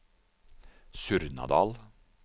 Surnadal